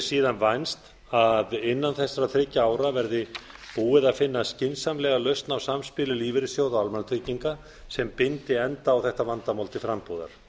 síðan vænst að innan þessara þriggja ára verði búið að finna skynsamlega lausn á samspili lífeyrissjóða almannatrygginga sem bindi enda á þetta vandamál til frambúðar